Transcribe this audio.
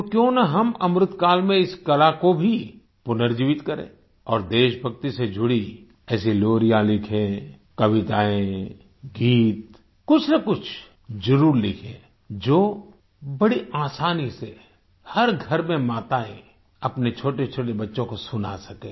तो क्यों न हम अमृतकाल में इस कला को भी पुनर्जीवित करें और देशभक्ति से जुड़ी ऐसी लोरियां लिखें कविताएं गीत कुछनकुछ जरुर लिखें जो बड़े आसानी से हर घर में माताएँ अपने छोटेछोटे बच्चों को सुना सके